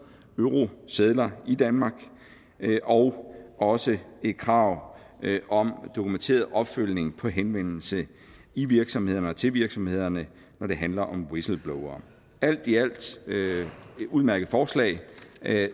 eurosedler i danmark og også et krav om dokumenteret opfølgning på henvendelser i virksomhederne og til virksomhederne når det handler om whistleblowere alt i alt et udmærket forslag